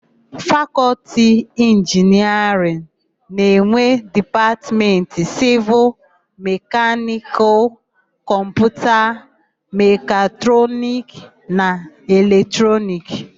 Fakọlti Inginiarịn na-enwe Dipatmentị Sịvịl, Mekanịkal, Kọmputa, Mekatrọniki na Elektrikalụ.